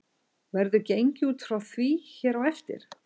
Verður gengið út frá því hér á eftir.